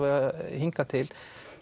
hingað til